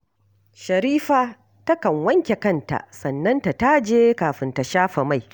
Sharifa takan wanke kanta, sannan ta taje kafin ta shafa mai